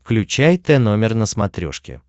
включай тномер на смотрешке